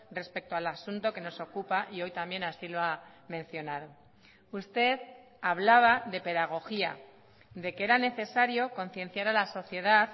respecto al asunto que nos ocupa y hoy también así lo ha mencionado usted hablaba de pedagogía de que era necesario concienciar a la sociedad